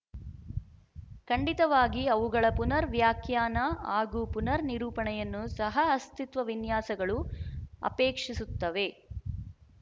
ಖಂಡಿತವಾಗಿ ಅವುಗಳ ಪುನರ್‌ ವ್ಯಾಖ್ಯಾನ ಹಾಗೂ ಪುನರ್‌ ನಿರೂಪಣೆಯನ್ನು ಸಹಅಸ್ತಿತ್ವ ವಿನ್ಯಾಸಗಳು ಅಪೇಕ್ಷಿಸುತ್ತವೆ